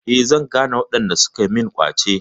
Eh, zan gane waɗanda suka min ƙwace.